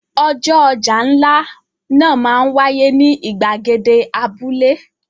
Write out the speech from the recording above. Ọjọ́ ọjà ńlá náà máa ń wáyé ní ìgbàgede abúlé.